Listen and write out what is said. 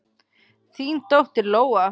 Þín dóttir, Lóa.